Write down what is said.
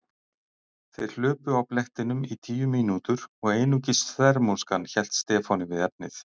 Þeir hlupu á blettinum í tíu mínútur og einungis þvermóðskan hélt Stefáni við efnið.